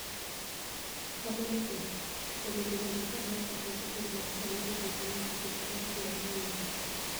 Kamano kendo , obedo nade ka Amerka penjo piny mar Saudi gik lweny e seche magigore Yemen?